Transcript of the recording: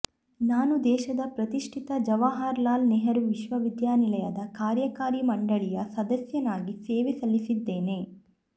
ನಾನು ದೇಶದ ಪ್ರತಿಷ್ಟಿತ ಜವಾಹಾರ್ಲಾಲ್ ನೆಹರು ವಿಶ್ವವಿದ್ಯಾನಿಲಯದ ಕಾರ್ಯಕಾರಿ ಮಂಡಳಿಯ ಸದಸ್ಯನಾಗಿ ಸೇವೆ ಸಲ್ಲಿಸಿದ್ದೇನೆ